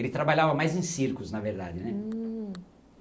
Ele trabalhava mais em circos, na verdade, né? hum